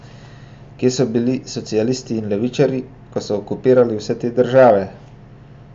Kje so bili socialisti in levičarji, ko so okupirali vse te države?